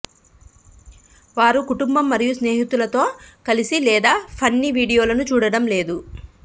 వారు కుటుంబం మరియు స్నేహితులతో కలిసి లేదా ఫన్నీ వీడియోలను చూడటం లేదు